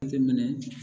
Jateminɛ